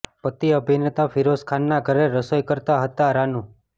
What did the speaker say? પતિ અભિનેતા ફિરોઝ ખાનના ઘરે રસોઈ કરતા હતાઃ રાનૂ